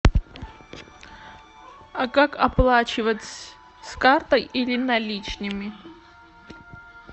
а как оплачивать с картой или наличными